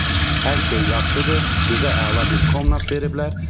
Hər şey yaxşıdır, bizə əla bir komnat veriblər.